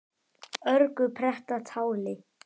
örgu pretta táli.